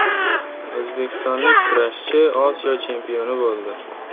O‘zbekistonlik kurashchi Osiyo chempioni bo‘ldi.